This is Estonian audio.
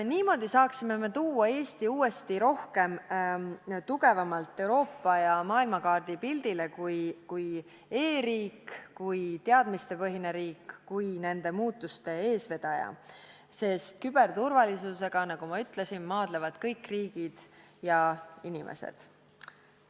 Niimoodi saaksime tuua Eesti uuesti tugevamalt Euroopas ja maailmas pildile kui e-riigi, kui teadmistepõhise riigi, kui muutuste eesvedaja, sest küberturvalisusega, nagu ma ütlesin, maadlevad kõik riigid ja inimesed.